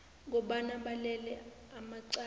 kobana balele amacala